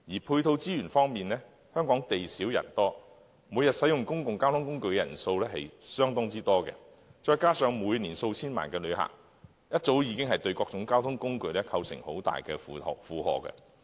配套資源方面，香港地小人多，每天使用公共交通工具的人數極多，加上每年數千萬名旅客，早已對各種交通工具構成相當大的負荷。